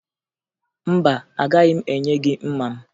Mba, agaghị m enye gị mma m